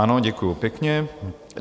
Ano, děkuji pěkně.